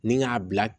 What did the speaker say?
Ni k'a bila